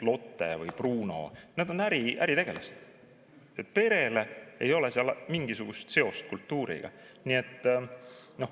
Lotte ja Bruno on äritegelased ning perel ei ole seal mingisugust seost kultuuriga.